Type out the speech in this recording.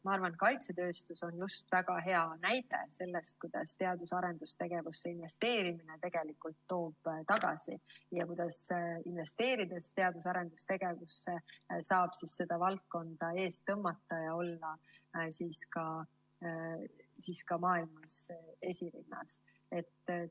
Ma arvan, et kaitsetööstus on just väga hea näide selle kohta, kuidas teadus‑ ja arendustegevusse investeerimine toob tagasi ning kuidas teadus‑ ja arendustegevusse investeerides saab seda valdkonda eest tõmmata ja olla ka maailmas esirinnas.